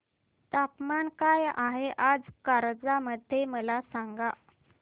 तापमान काय आहे आज कारंजा मध्ये मला सांगा